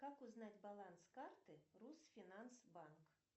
как узнать баланс карты русфинанс банк